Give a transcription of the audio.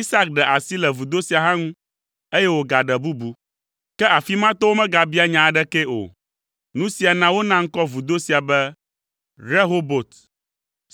Isak ɖe asi le vudo sia hã ŋu, eye wògaɖe bubu. Ke afi ma tɔwo megabia nya aɖekee o. Nu sia na wona ŋkɔ vudo sia be Rehobot